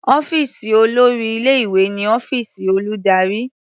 Ọ́fíìsì olórí ilé-ìwé ni ọ́fíìsì olùdarí.